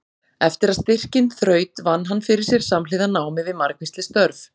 Eftir að styrkinn þraut vann hann fyrir sér samhliða námi við margvísleg störf.